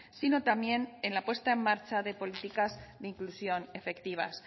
sino también en la puesta en marcha de políticas de inclusión efectivas